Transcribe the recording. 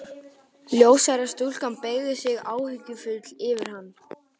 Ljóshærða stúlkan beygði sig áhyggjufull yfir hann.